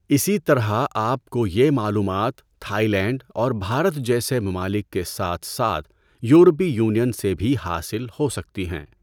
اسی طرح آپ کو یہ معلومات تھائی لینڈ اور بھارت جیسے ممالک کے ساتھ ساتھ یورپی یونین سے بھی حاصل ہو سکتی ہیں۔